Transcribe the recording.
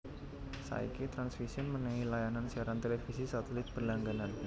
Saiki Transvision mènèhi layanan siaran televisi satelit berlangganan